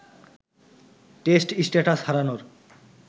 test status হারানোর